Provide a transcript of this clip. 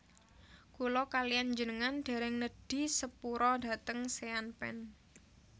Kula kaliyan njenengan dereng nedhi sepura dhateng Sean Penn